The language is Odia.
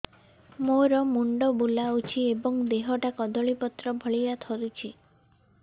ମୋର ମୁଣ୍ଡ ବୁଲାଉଛି ଏବଂ ଦେହଟା କଦଳୀପତ୍ର ଭଳିଆ ଥରୁଛି